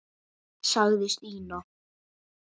sagði Stína.